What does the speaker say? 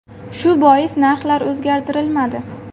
Shu bois narxlar o‘zgartirilmadi.